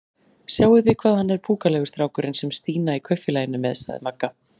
Sjáið þið hvað hann er púkalegur strákurinn sem Stína í Kaupfélaginu er með? sagði Magga.